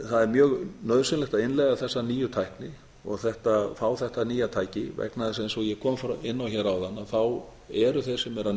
það er mjög nauðsynlegt að innleiða þessa nýju tækni og fá þetta nýja tæki vegna þess eins og ég kom inn á hér áðan eru þeir sem eru